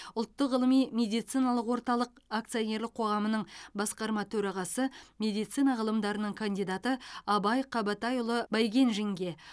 ұлттық ғылыми медициналық орталық акционерлік қоғамының басқарма төрағасы медицина ғылымдарының кандидаты абай қабатайұлы байгенжинге